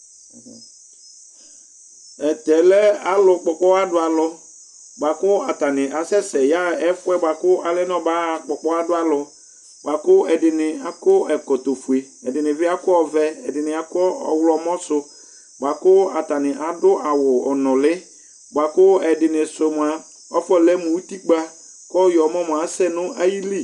Tʊ alʊwanɩ lɛ alʊ kpɔ ɔkpɔha dʊ alʊ, bua kʊ atanɩ asɛ sɛ yaɣa ɛfʊ yɛ alɛ nʊ ɔmakpɔ ɔkpɔha dʊ alʊ, ɛdɩnɩ akɔ ɛkɔtɔ fue, ɛdɩnɩ akɔ ɔvɛ, ɛdɩnɩ akɔ ɔwlɔmɔ sʊ, atanɩ adʊ awʊ ɔnʊlɩ, ɛdɩnɩ sʊ afɔlɛ mʊ utikpǝ kɔ ɔwlɔmɔ asɛ nʊ ayili